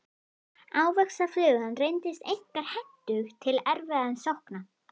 Ávaxtaflugan reyndist einkar hentug til erfðarannsókna.